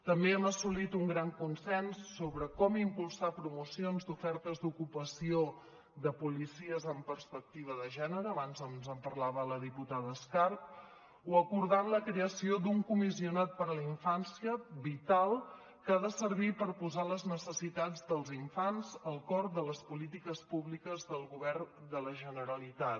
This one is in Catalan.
també hem assolit un gran consens sobre com impulsar promocions d’ofertes d’ocupació de policies amb perspectiva de gènere abans ens en parlava la diputada escarp o acordant la creació d’un comissionat per a la infància vital que ha de servir per posar les necessitats dels infants al cor de les polítiques públiques del govern de la generalitat